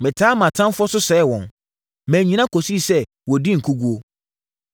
“Metaa mʼatamfoɔ so sɛee wɔn; mannyina kɔsii sɛ wɔdii nkoguo.